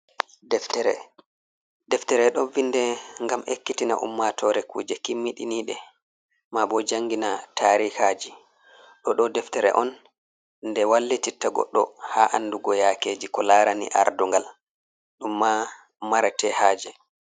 Deftere ɗo vinde ngam ekkitina ummatoore kuje kimmiɗiniɗe ,maabo janngina tarihaaji. Ɗoɗo deftere on, nde wallititta goɗɗo haa anndugo yakeeji ko laarani ardungal ɗum ma marate haaje.